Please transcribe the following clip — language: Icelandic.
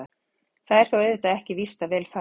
Það er þó auðvitað ekki víst að vel fari.